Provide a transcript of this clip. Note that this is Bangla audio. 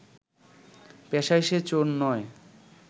পেশায় সে চোর নয়